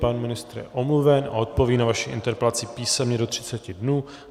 Pan ministr je omluven a odpoví na vaši interpelaci písemně do 30 dnů.